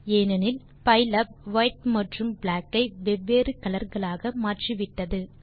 ஏனெனில் பைலாப் வைட் மற்றும் பிளாக் ஐ வெவ்வேறு கலர் களாக மாற்றிவிட்டது